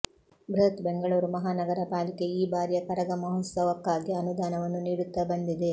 ಬೃಹತ್ ಬೆಂಗಳೂರು ಮಹಾನಗರ ಪಾಲಿಕೆ ಈ ಬಾರಿಯ ಕರಗ ಮಹೋತ್ಸವಕ್ಕಾಗಿ ಅನುದಾನವನ್ನು ನೀಡುತ್ತಾ ಬಂದಿದೆ